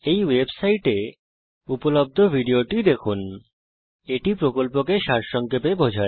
এই ওয়েবসাইটে উপলব্ধ ভিডিওটি দেখুন এটি কথ্য টিউটোরিয়াল প্রকল্পকে সংক্ষেপে বিবরণ করে